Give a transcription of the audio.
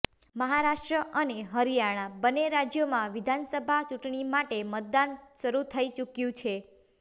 મહારાષ્ટ્ર અને હરિયાણા બંને રાજ્યોમાં વિધાનસભા ચૂંટણી માટે મતદાન શરૂ થઈ ચૂક્યું છે